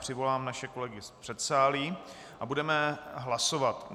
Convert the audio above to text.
Přivolám naše kolegy z předsálí a budeme hlasovat.